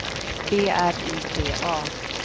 B R Y T A